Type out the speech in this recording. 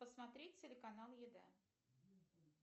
посмотреть телеканал еда